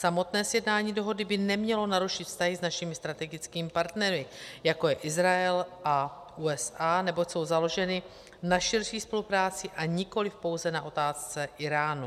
Samotné sjednání dohody by nemělo narušit vztahy s našimi strategickými partnery, jako je Izrael a USA, neboť jsou založeny na širší spolupráci a nikoliv pouze na otázce Íránu.